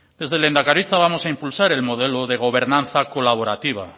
desde lehendakaritza vamos a impulsar el modelo de gobernanza colaborativa